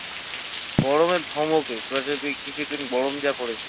গরমের ধমকে কিছু দিন গরম যা পড়েছে